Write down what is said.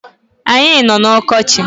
Anyi no n’ọkọchi